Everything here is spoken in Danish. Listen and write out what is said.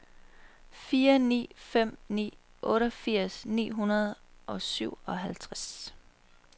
fire ni fem ni otteogfirs ni hundrede og syvoghalvtreds